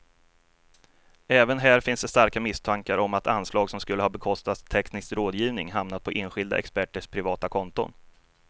Även här finns starka misstankar om att anslag som skulle ha bekostat teknisk rådgivning hamnat på enskilda experters privata konton.